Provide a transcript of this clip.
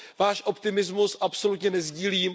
Váš optimismus absolutně nesdílím.